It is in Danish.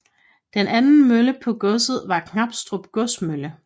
Den anden mølle på godset var Knabstrup Godsmølle